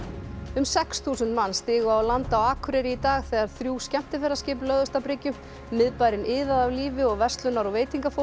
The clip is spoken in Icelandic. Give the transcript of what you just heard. um sex þúsund manns stigu á land á Akureyri í dag þegar þrjú skemmtiferðaskip lögðust að bryggju miðbærinn iðaði af lífi og verslunar og